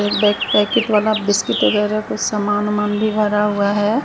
एक बै पैकेट वाला बिस्कुट वगैरा कुछ समान वोमान भरा हुआ है।